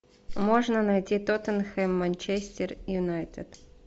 можно найти тоттенхэм манчестер юнайтед